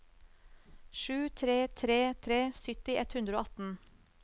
sju tre tre tre sytti ett hundre og atten